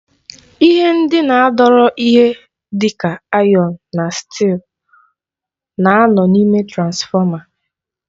Ihe ndị na-adọrọ ihe dịka ayọn na stị́ịl na-anọ n'ime transfọma.